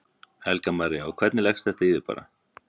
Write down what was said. Helga María: Og hvernig leggst þetta í þig bara?